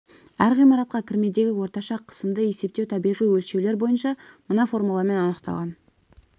әр ғимаратқа кірмедегі орташа қысымды есептеу табиғи өлшеулер бойынша мына формуламен анықталған